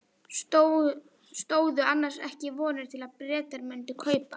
Stóðu annars ekki vonir til að Bretar mundu kaupa?